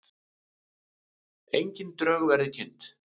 Engin drög verið kynnt